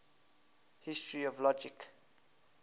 history of logic